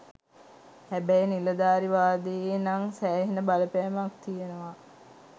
හැබැයි නිලධාරීවාදයෙ නං සෑහෙන බලපෑමක් තියනව.